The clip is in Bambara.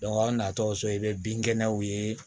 aw natɔ so i bɛ binkɛnɛw ye